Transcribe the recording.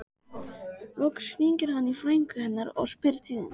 Loks hringir hann í frænku hennar og spyr tíðinda.